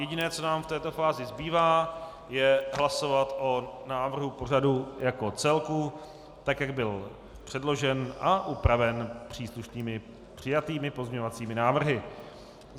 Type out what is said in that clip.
Jediné, co nám v této fázi zbývá, je hlasovat o návrhu pořadu jako celku, tak jak byl předložen a upraven příslušnými přijatými pozměňovacími návrhy.